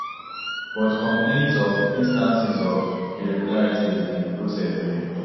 but complaints of instances of irregularities in di process dey